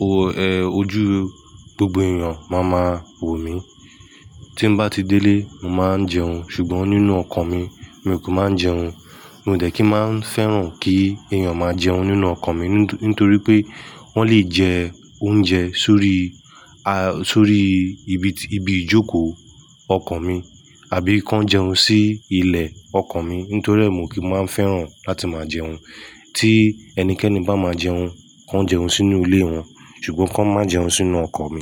o-- ẹ, ojú gbogbo ènìyàn máa ma wò mí. Tí m'bá ti délé, mo máa ń jẹun ṣùgbọ́n nínú ọkọ̀ mi, mi kò máa ń jẹun. Mo dẹ̀ kí máa ń fẹ́ràn kí ènìyàn máa jẹun nínú ọkọ̀ mi nítorí pé wọ́n lè jẹ oúnjẹ sórí, a, sórí ibi ti, ibi ìjókòó ọkọ̀ mi àbí kí wọ́n jẹun sí ilẹ̀ ọkọ̀ mi nítorí ẹ́ mo kì í máa ń fẹ́ràn láti máa jẹun. Tí ẹnikẹ́ni bá máa jẹun, kó jẹun sínú ilé wọn ṣùgbọ́n kó má jẹun sínú ọkọ̀ mi.